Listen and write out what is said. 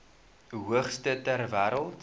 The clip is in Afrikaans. hoogste ter wêreld